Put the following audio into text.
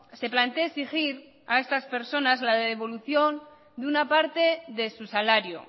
se plantee exigir a estas personas la devolución de una parte de su salario